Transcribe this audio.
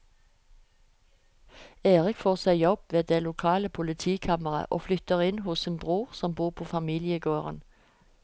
Erik får seg jobb ved det lokale politikammeret og flytter inn hos sin bror som bor på familiegården.